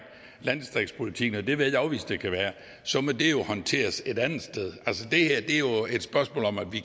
landdistriktspolitikken og det vil jeg ikke afvise der kan være så må det jo håndteres et andet sted altså det her er jo et spørgsmål om at vi